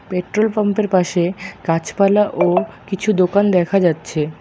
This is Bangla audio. পেট্রোলপাম্পের পাশে গাছপালা ও কিছু দোকান দেখা যাচ্ছে।